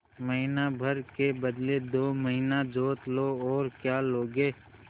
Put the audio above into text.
महीना भर के बदले दो महीना जोत लो और क्या लोगे